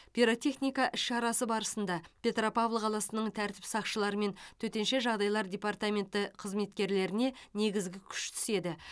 пиротехника іс шарасы барысында петропавл қаласының тәртіп сақшылары мен төтенше жағдайлар департаментінің қызметкерлеріне негізгі күш түседі